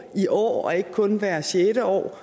i år og ikke kun hvert sjette år